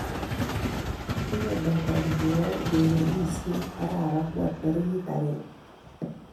Kigonaita biik koyae urerenishet arap angwan tarik agenge